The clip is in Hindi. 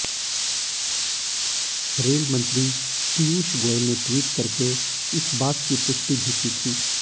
रेल मंत्री पीयूष गोयल ने ट्वीट करके इस बात की पुष्टि भी की थी